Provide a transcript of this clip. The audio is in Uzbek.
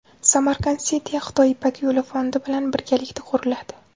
Samarkand City Xitoy Ipak yo‘li fondi bilan birgalikda quriladi.